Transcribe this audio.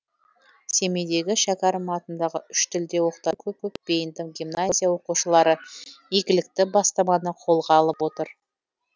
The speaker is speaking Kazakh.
семейдегі шәкәрім атындағы үш тілде оқытатын кө бейінді гимназия оқушылары игілікті бастаманы қолға алып отыр